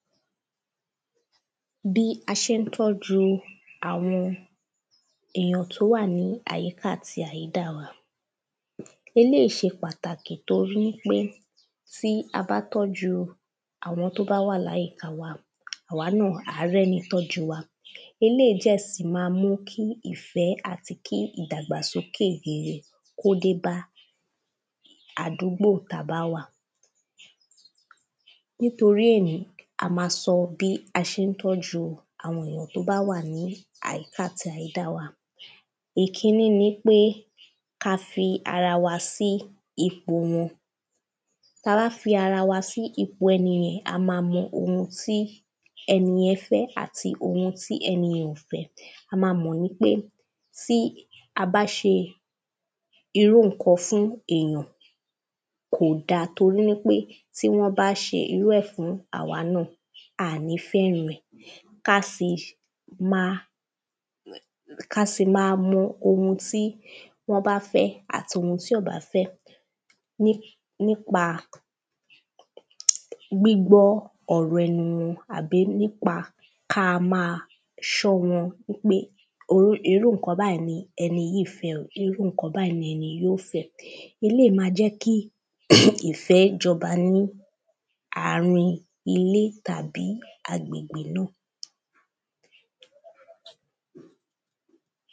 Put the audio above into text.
bí a ṣe ń tọ́ju àwọn èyàn tó wà ní àyíká àti àyídà wa eléyìí ṣe pàtàkì torí pé tí a bá tọ́jú àwọn tó bá wà láyìíka wa, àwa náà á rẹ́ni tọju wa eléìí dẹ̀ sì ma mú kí ìfẹ́ àti kí ìdàgbàsókè rere kó dé bá àdúgbò tá a bá wà nítorí èyí, a ma sọ bí a ṣe ń tọ́ju àwọn èyàn tó bá wà ní àyíka àti àyídà wa ìkíní ni pé ka fi ara wa sí ipò wọn, ta bá fi ara wa sí ipò ẹni yen, a ma mọ ohun tí ẹni yẹn fẹ́ àti ohun tí ẹni yẹn ò fẹ́ a ma mọ̀ ní pé tí a bá ṣe irú nǹkan fún èyàn, kò da torí pé tí wọ́n bá ṣe irú ẹ̀ fún awa náà, aà ni fẹ́ran ẹ̀ ka sì máa mọ ohun tí wọ́n bá fẹ́ àti ohun tí wọn kò bá fẹ́ nípa gbígbọ ọ̀rọ̀ ẹnu wọn àbí nípa kí a máa sọ wọ́n nípa irú ǹkan báyìí ni ẹni yìí fẹ́, irú ǹkan báyìí ni ẹni yìí ò fẹ́ eléyìí máa ń jẹ́ kí ìfẹ́ jọba ní àárín ilé tàbí agbègbè náà